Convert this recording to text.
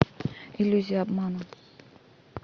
иллюзия обмана